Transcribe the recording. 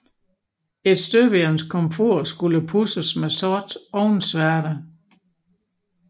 Et støbejernskomfur skulle pudses med sort ovnsværte